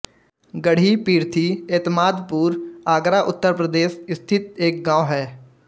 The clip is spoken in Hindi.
गढ़ी पिर्थी एतमादपुर आगरा उत्तर प्रदेश स्थित एक गाँव है